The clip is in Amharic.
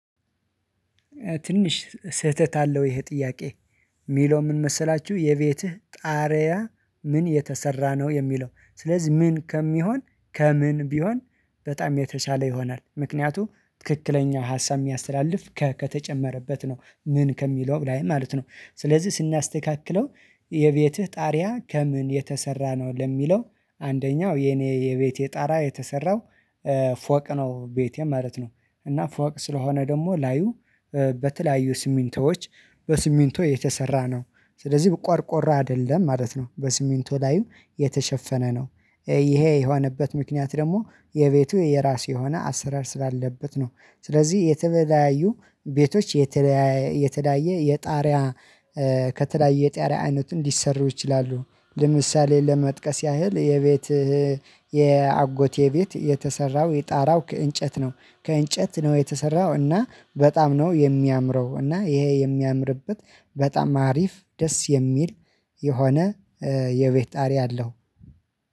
ትንሽ ስህተት አለው ይሄ ጥያቄ። የሚለው ምን መሰላችሁ የቤትህ ጣሪያ ምን የተሰራ ነው? የሚለው፤ ስለዚህ ምን ከሚሆን ከምን ቢሆን በጣም የተሻለ ይሆናል። ምክንያቱም ትክክለኛ ሀሳብ የሚያስተላልፍ 'ከ' ከተጨመረበት ነው። ምን ከሚለው ላይ ማለት ነው። ስለዚህ ስናስተካክለው የቤትህ ጣሪያ ከምን የተሰራ ነው? ለሚለው፣ አንደኛው የኔ የቤቴ ጣሪያ የተሰራው ፎቅ ነው ቤቴ ማለት ነው፤ እና ፎቅ ስለሆነ ደግሞ ላዩ በተለያዩ ስሚንቶዎች በስሚንቶ የተሰራ ነው። ስለዚህ ቆርቆሮ አይደለም ማለት ነው። በስሚንቶ ላይ የተሸፈነ ነው። ይሄ የሆነበት ምክንያት ደግሞ የቤቱ የራሱ የሆነ አሰራር ስላለበት ነው። ስለዚህ የተለያዩ ቤቶች የተለያየ የጣሪያ ከተለያየ የጣሪያ አይነትም ሊሰሩ ይችላሉ። ለምሳሌ ለመጥቀስ ያህል የቤት የአጎቴ ቤት የተሰራው የጣራው ከእንጨት ነው። ከእንጨት ነው የተሰራው እና በጣም ነው የሚያምረው እና ይሄ የሚያምርበት በጣም አሪፍ ደስ የሚል የሆነ የቤት ጣሪያ አለው።